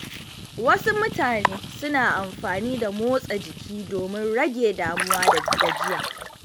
Wasu mutane suna amfani da motsa jiki domin rage damuwa da gajiya.